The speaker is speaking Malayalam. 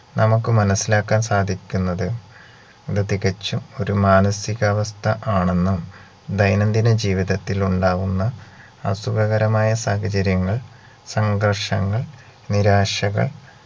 നമുക്ക് മനസിലാക്കാൻ സാധിക്കുന്നത് ഇത് തികച്ചും ഒര് മാനസികാവസ്ഥ ആണെന്നും ദൈനന്തിന ജീവിതത്തിൽ ഉണ്ടാകുന്ന അസുഖകരമായ സാഹചര്യങ്ങൾ സംഘർഷങ്ങൾ നിരാശകൾ